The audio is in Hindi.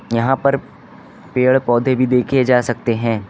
यहां पर पेड़ पौधे भी देखे जा सकते हैं।